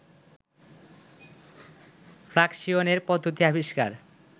ফ্লাকসিয়নের পদ্ধতি আবিষ্কার